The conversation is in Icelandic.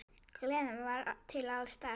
Gleðin var til staðar.